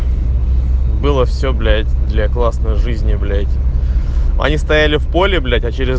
было все блять для классной жизни блять они стояли в поле блять а через